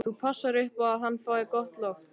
Þú passar upp á að hann fái gott loft.